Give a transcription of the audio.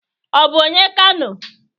O bu onye Kano?